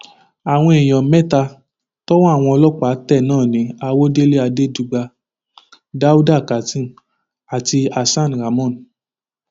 ó ní ti àsìkò yìí burú jáì tó jẹ ohun tó ń ṣẹlẹ nílò àdúrà àti ìdásí ọlọrun látòkè wá